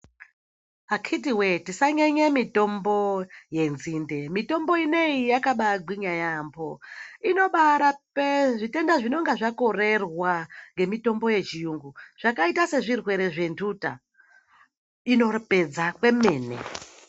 Akhiti voye tisanyanye mitombo yenzinde mitombo inoiyi yakabagwinya yaambo. Inobarape zvitenda zvinenge zvakorerwa ngemitombo yechiyungu, zvakaita sezvirwere zvenhuta inopedza kwemene.